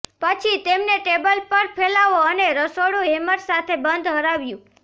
પછી તેમને ટેબલ પર ફેલાવો અને રસોડું હેમર સાથે બંધ હરાવ્યું